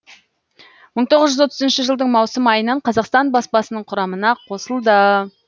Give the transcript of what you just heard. мың тоғыз жүз отызыншы жылдың маусым айынан қазақстан баспасының құрамына қосылды